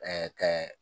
kɛ